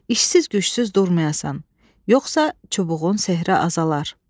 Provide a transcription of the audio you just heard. İşsiz-gücsüz durmayasan, yoxsa çubuğun sehri azalar.